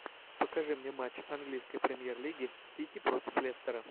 покажи мне матч английской премьер лиги сити против лестера